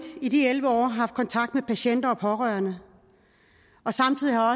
i de elleve år har haft kontakt med patienter og pårørende og samtidig har